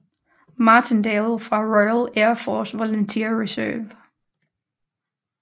Martindale fra Royal Air Force Volunteer Reserve